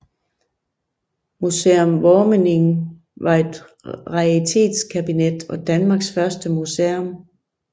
Museum Wormianum var et raritetskabinet og Danmarks første museum